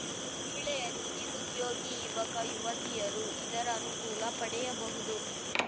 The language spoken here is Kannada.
ಮಹಿಳೆಯರು ನಿರುದ್ಯೋಗಿ ಯುವಕ ಯುವತಿಯರು ಇದರ ಅನುಕೂಲ ಪಡೆಯಬಹುದು